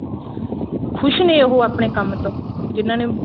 ਖੁਸ਼ ਨੇ ਉਹ ਆਪਨੇ ਕੰਮ ਤੋਂ ਜਿਹਨਾ ਨੇ